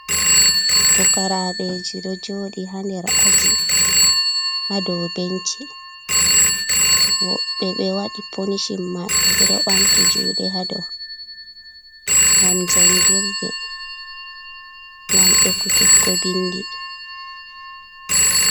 Pukaraɓe ji ɗo joɗi ha nder aji ha dow benchi, woɓɓe ɓe waɗi ponishin maɓɓe ɓe ɗo bamti juɗe ha dow, ngam jangirde, ngam ekutuggo bindi.